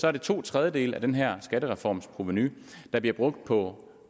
er det to tredjedele af den her skattereforms provenu der bliver brugt på